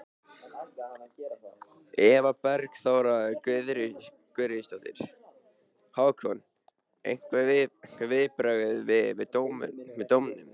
Eva Bergþóra Guðbergsdóttir: Hákon, einhver viðbrögð við dómnum?